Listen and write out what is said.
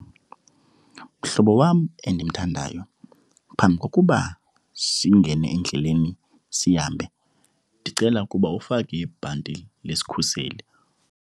Mhlobo wam endimthandayo, phambi kokuba singene endleleni sihambe, ndicela ukuba ufake ibhanti lesikhuseli.